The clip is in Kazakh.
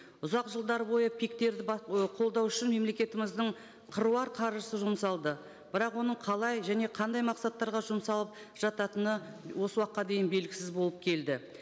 ұзақ жылдар бойы пик терді ы қолдау үшін мемлекетіміздің қыруар қаржысы жұмсалды бірақ оның қалай және қандай мақсаттарға жұмсалып жататыны осы уақытқа дейін белгісіз болып келді